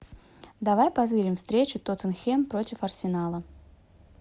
давай позырим встречу тоттенхэм против арсенала